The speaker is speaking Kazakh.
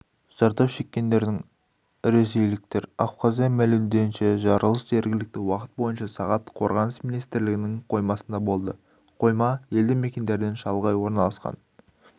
зардап шеккендердің іресейліктер абхазия мәлімдеуінше жарылыс жергілікті уақыт бойынша сағат қорғаныс министрлігінің қоймасында болды қойма елді мекендерден шалғай орналасқан